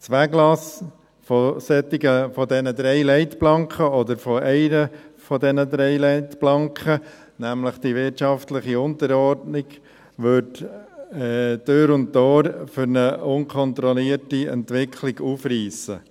Das Weglassen der drei Leitplanken – oder einer der drei Leitplanken, nämlich der wirtschaftlichen Unterordnung – würde Tür und Tor zu einer unkontrollierten Entwicklung aufreissen.